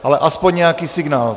Ale aspoň nějaký signál.